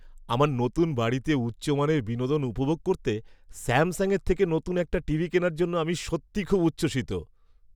আমার নতুন বাড়িতে উচ্চমানের বিনোদন উপভোগ করতে স্যামসাংয়ের থেকে নতুন একটা টিভি কেনার জন্য আমি সত্যিই খুব উচ্ছ্বসিত।